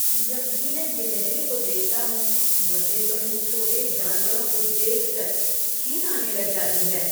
जब भी मैं गिलहरी को देखता हूँ, मुझ तो इन छोटे जानवरों को देखकर घिन आने लग जाती है।